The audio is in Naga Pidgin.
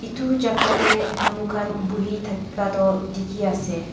edu jaka tae manu khan buhi thaka toh dikhiase.